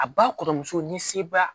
A ba kɔrɔmuso ni seba